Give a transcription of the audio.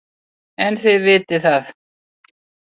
En þið vitið það.